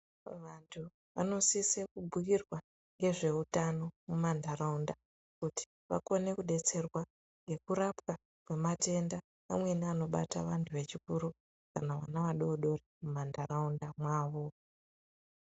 Vantu vanosise kubhukirwa ngezveuta mumantaraunda kuti vagone kudetserwa kwematenda amweni anobata vantu vechikuru kana vana vadoodori mumantaraunda mavo.